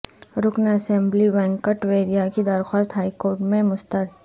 رکن اسمبلی وینکٹ ویریا کی درخواست ہائی کورٹ میں مسترد